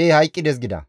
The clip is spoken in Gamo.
«Ee hayqqides» gida.